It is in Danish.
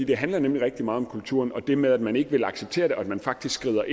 det handler nemlig rigtig meget om kulturen og det med at man ikke vil acceptere det og at man faktisk skriver